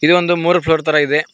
ಇದು ಒಂದು ಮೂರು ಫ್ಲೋರ್ ತರ ಇದೆ.